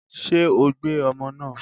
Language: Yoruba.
Ṣé o gbé ọmọ náà?